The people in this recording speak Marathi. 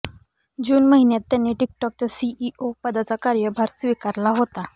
जून महिन्यात त्यांनी टिकटॉकच्या सीईओ पदाचा कार्यभार स्वीकारला होता